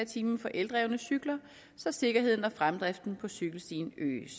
time for eldrevne cykler så sikkerheden og fremdriften på cykelstien øges